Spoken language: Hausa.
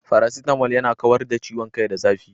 Faracetamal yana kawar da ciwon kai da zafi.